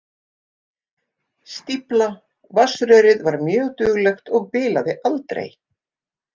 Stífla Vatnsrörið var mjög duglegt og bilaði aldrei.